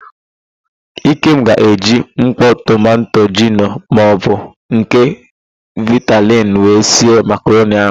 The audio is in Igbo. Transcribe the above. Ikem ga-eji mkpọ tomanto gino maọbụ nke vitali wee sie makaroni ahụ.